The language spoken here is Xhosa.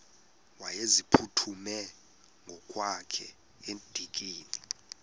wayeziphuthume ngokwakhe edikeni